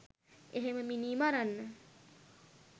එහෙම මිනී මරන්න